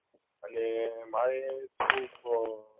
અને મારે થોડુક આ